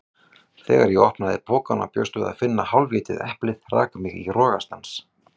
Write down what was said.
Þegar ég opnaði pokann og bjóst við að finna hálfétið eplið rak mig í rogastans.